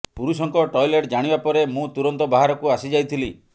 ପୁରୁଷଙ୍କ ଟଏଲେଟ୍ ଜାଣିବା ପରେ ମୁଁ ତୁରନ୍ତ ବାହାରକୁ ଆସିଯାଇଥିଲି